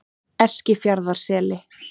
Eskifjarðarseli